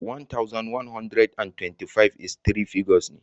One thousand, one hundred and twenty-five is three figures ne.